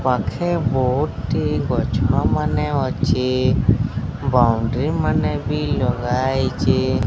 ପାଖେ ବୋହୁଟି ଗଛ ମାନେ ଅଛି ବୋଉଣ୍ଡ୍ରି ମାନେ ବି ଲଗା ହେଇଚି।